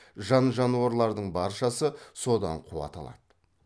жан жануарлардың баршасы содан қуат алады